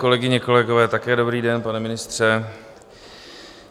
Kolegyně, kolegové, také dobrý den, pane ministře.